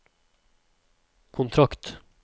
kontrakt